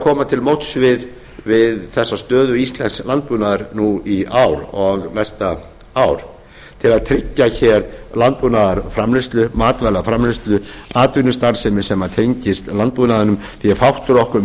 koma til móts við þessa stöðu íslensks landbúnaðar nú í ár og næsta ár til að tryggja hér landbúnaðarframleiðslu matvælaframleiðslu atvinnustarfsemi sem tengist landbúnaðinum því að fátt er okkur